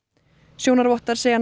sjónarvottar segja